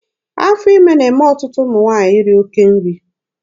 Afọ ime na-eme ọtụtụ ụmụ nwaanyị iri oke nri.